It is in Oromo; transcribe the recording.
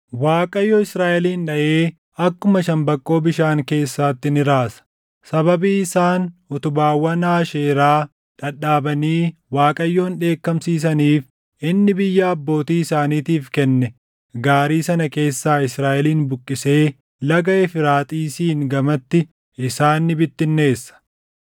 Waaqayyo Israaʼelin dhaʼee akkuma shambaqqoo bishaan keessaatti ni raasa. Sababii isaan utubaawwan Aasheeraa dhadhaabanii Waaqayyoon dheekkamsiisaniif inni biyya abbootii isaaniitiif kenne gaarii sana keessaa Israaʼelin buqqisee Laga Efraaxiisiin gamatti isaan ni bittinneessa.